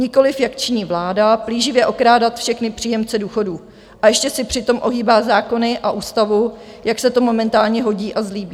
Nikoliv jak činí vláda, plíživě okrádat všechny příjemce důchodů a ještě si přitom ohýbat zákony a ústavu, jak se to momentálně hodí a zlíbí.